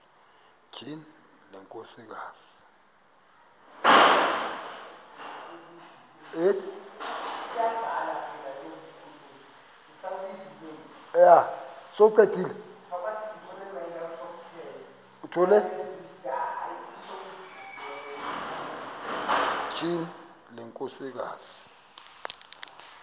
tyhini le nkosikazi